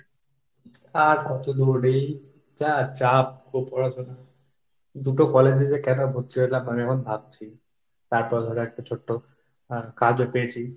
আর কতদূর এই যা চাপ গো পড়াশোনার। দুটো college এ যে কেন ভর্তি হলাম, আমি এখন ভাবছি। তারপর ধরো একটা ছোট্ট হ্যাঁ কাজও পেয়েছি।